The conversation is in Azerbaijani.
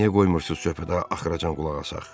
Niyə qoymursunuz söhbətə axıracan qulaq asaq?